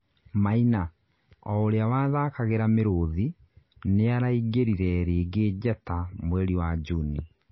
Maina, ouria wathakagĩra Mĩruthi nĩaraingĩrire rĩngĩ njata mweri wa Juni